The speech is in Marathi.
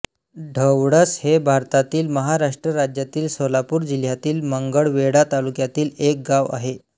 ढवळस हे भारतातील महाराष्ट्र राज्यातील सोलापूर जिल्ह्यातील मंगळवेढा तालुक्यातील एक गाव आहे